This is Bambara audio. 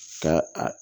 Ka a